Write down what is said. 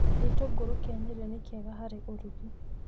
Gĩtũngũrũ kĩa Nyeri nĩ kĩega harĩ ũrugi.